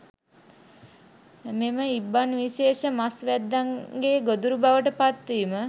මෙම ඉබ්බන් විශේෂ මස් වැද්දන්ගේ ගොදුරු බවට පත්වීම